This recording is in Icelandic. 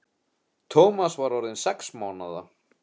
Tómas er orðinn sex mánaða.